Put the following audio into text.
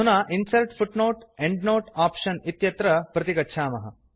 अधुना इन्सर्ट् footnoteएण्ड्नोते आप्शन इत्यत्र प्रतिगच्छामः